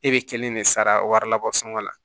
E be kelen de sara wari labɔ sɔngɔ la